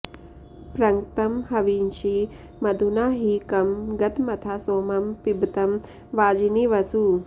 पृङ्क्तं हवींषि मधुना हि कं गतमथा सोमं पिबतं वाजिनीवसू